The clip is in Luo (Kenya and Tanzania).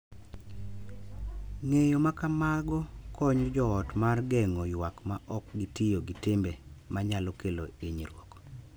Ng'eyo ma kamago konyo jo ot mar geng'o ywak ma ok gitiyo gi timbe manyalo kelo hinyruok,